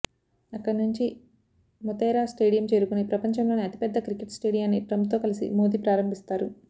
అక్కడి నుంచి మోతెరా స్టేడియం చేరుకొని ప్రపంచంలోనే అతిపెద్ద క్రికెట్ స్టేడియాన్ని ట్రంప్ తో కలిసి మోదీ ప్రారంభిస్తారు